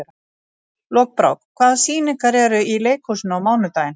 Lokbrá, hvaða sýningar eru í leikhúsinu á mánudaginn?